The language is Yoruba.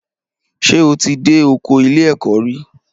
Ṣé o ti dé ọkọ ilé ẹ̀kọ́ re rí